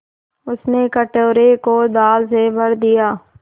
उसने कटोरे को दाल से भर दिया